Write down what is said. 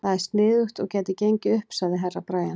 Það er sniðugt og gæti gengið upp, sagði Herra Brian.